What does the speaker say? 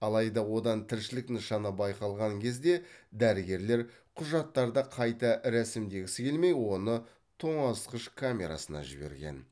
алайда одан тіршілік нышаны байқалған кезде дәрігерлер құжаттарды қайта рәсімдегісі келмей оны тоңазытқыш камерасына жіберген